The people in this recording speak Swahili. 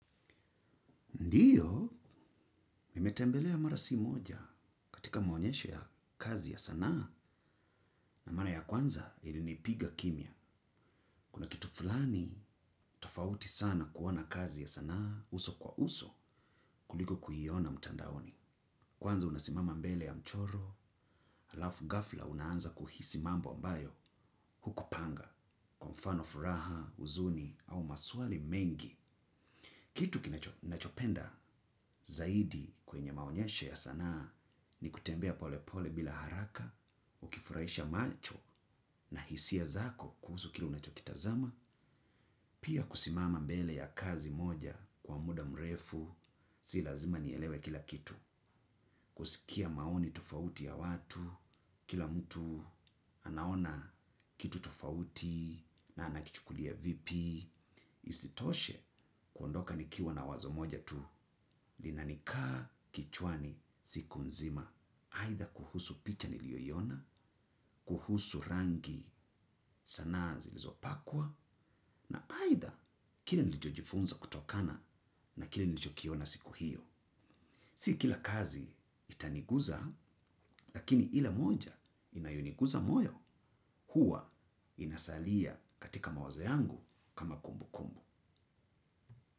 Ndiyo, mimetembelea marasi moja katika maonyesho ya kazi ya sana na mara ya kwanza ilinipiga kimya. Kuna kitu fulani tofauti sana kuona kazi ya sana uso kwa uso kuliko kuiyona mtandaoni. Kwanza unasimama mbele ya mchoro, alafu gafla unaanza kuhisimambo ambayo hukupanga kwa mfano furaha huzuni au maswali mengi. Kitu kinachopenda zaidi kwenye maonyesho ya sanaa ni kutembea pole pole bila haraka, ukifurahisha macho na hisia zako kuhusu kile unachokitazama, pia kusimama mbele ya kazi moja kwa muda mrefu, si lazima nielewe kila kitu. Kusikia maoni tofauti ya watu, kila mtu anaona kitu tofauti na anakichukulia vipi, isitoshe kuondoka nikiwa na wazo moja tu, linanikaa kichwani siku nzima. Aidha kuhusu picha niliyoiona, kuhusu rangi sana zilizopakwa, na aidha kile nilichojifunza kutokana na kile nilicho kiona siku hiyo. Si kila kazi itaniguza lakini ile moja inayoniguza moyo huwa inasalia katika mawazo yangu kama kumbu kumbu.